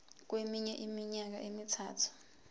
kweminye iminyaka emithathu